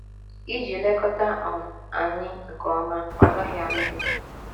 Iji lekọta um anyị nke ọma, ọ gaghị alụ di.